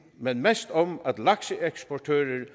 men mest om at lakseeksportører løbende